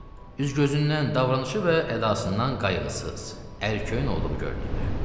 Üz-gözündən, davranışdan və ədasından qayğısız, ərköyün olduğu görünürdü.